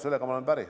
Sellega ma olen päri.